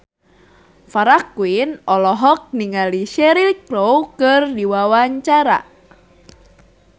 Farah Quinn olohok ningali Cheryl Crow keur diwawancara